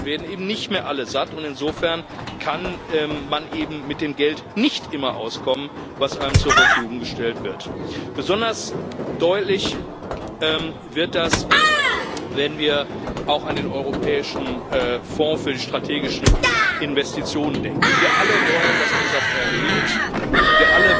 Dann werden eben nicht mehr alle satt, und insofern kann man eben mit dem Geld nicht immer auskommen, das einem zur Verfügung gestellt wird. Besonders deutlich wird das, wenn wir auch an den Europäischen Fonds für strategische Investitionen denken. Wir alle wollen, dass dieser Fonds Erfolg hat.